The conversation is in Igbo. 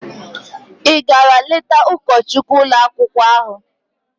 Ị gara leta ụkọchukwu ụlọakwụkwọ ahụ?